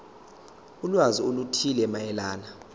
ulwazi oluthile mayelana